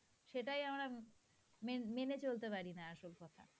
সেটাই আমরা মে~ মেনে চলতে পারিনা আসল কথা.